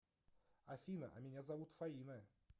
афина а меня зовут фаина